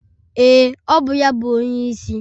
Ee, ọ bụ ya bụ onyeisi